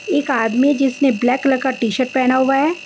एक आदमी जिसने ब्लैक कलर का टीसर्ट पहना हुआ है।